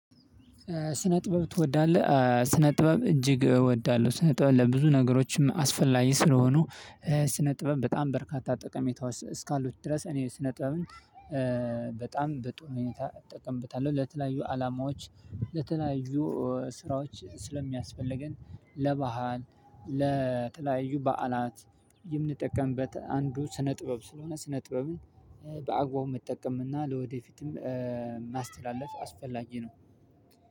ስነ ጥበብ ትወዳለህ? ስነ ጥበብ እጅግ እወዳለሁ። ስነ ጥበብ ለብዙ ነገሮችም አስፈላጊ ስለሆኑ። ስነ ጥበብ በጣም በርካታ ጠቀሜታዎች እስካሉት ድረስ እኔ ስነ ጥበብን በጣም በጥሩ ሁኔታ እጠቀምብታለሁ ለተለያዩ አላማዎች። ለተለያዩ ስራዎች ስለሚያስፈልገን ለባህል ለተለያዩ በዓላት የምንጠቀምበት አንዱ ስነ ጥበብ ስለሆነ ስነ ጥበብን በአግባቡ መጠቀምና ለወደፊትም ማስተላለፍ አስፈላጊ ነው።